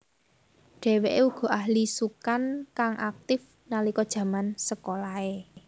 Dheweke uga ahli sukan kang aktif nalika jaman sekolahe